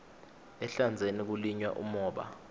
ehlandzeni kulinywa umhoba